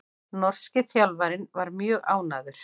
Norski þjálfarinn mjög ánægður